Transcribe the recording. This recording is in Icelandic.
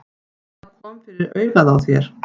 Hvað kom fyrir augað á þér?